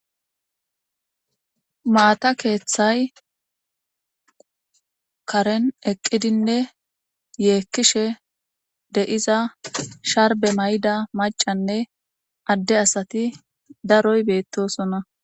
Maata keeththay karen eqqidinne yeekkishe deyiza sharbe mayda macanne adde asati daroy beettosona.